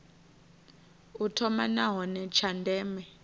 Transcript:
u thoma nahone tsha ndeme